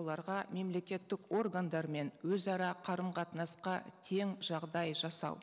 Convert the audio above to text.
оларға мемлекеттік органдармен өзара қарым қатынасқа тең жағдай жасау